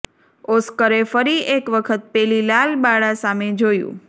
ઓસ્કરે ફરી એક વખત પેલી લાલ બાળા સામે જોયું